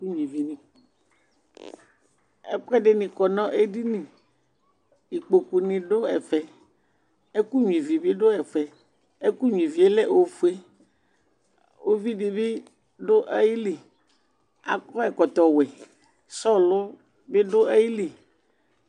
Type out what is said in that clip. Ɛkuɛdini kɔ nu edini ikpoku ni du ɛfɛ ɛkunyuivi bi du ɛfɛ ɛku nyuivie lɛ ofue uvidibi du ayili akɔ ɛkɔtɔ ɔwɛ sɔlɔ bi du ayili